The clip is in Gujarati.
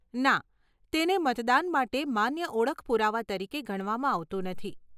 ના, તેને મતદાન માટે માન્ય ઓળખ પુરાવા તરીકે ગણવામાં આવતું નથી.